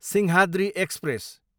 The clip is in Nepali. सिंहाद्री एक्सप्रेस